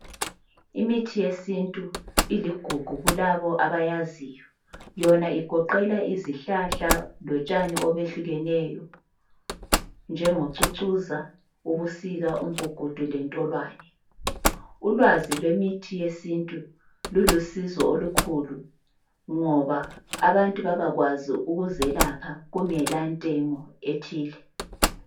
Imithi yesintu iligugu kulabo abayaziyo, yona igoqela izihlahla lotshani obehlukeneyo njengocucuza, ubusika, umgugudu lentolwane. Ulwazi lwemithi yesintu lulusizo olukhulu ngoba abantu babakwazi ukuzelapha kungelantengo ethile.